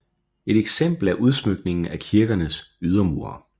Et eksempel er udsmykningen af kirkernes ydermure